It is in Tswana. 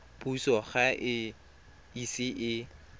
puso ga e ise e